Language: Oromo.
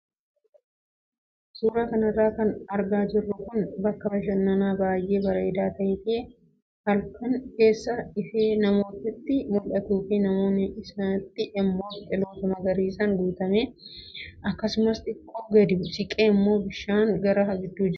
Suuraa kanarra kan argaa jirru kun bakka bashannanaa baay'ee bareedaa ta'ee fi halkan keessa ifee naannootti mul'atuu fi naannoo isaatti immoo biqiloota magariisaan guutame akkasumas xiqqoo gadi siqee immoo bishaan hara guddaatu jira.